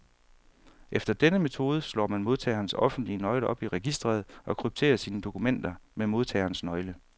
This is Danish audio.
Efter denne metode slår man modtagerens offentlige nøgle op i registret, og krypterer sine dokumenter med modtagerens nøgle.